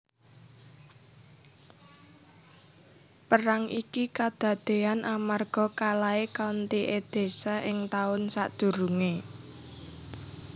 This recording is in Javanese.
Perang iki kadadéyan amarga kalahé County Edessa ing taun sadurungé